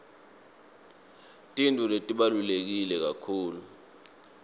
tintfo letibaluleke kakhulu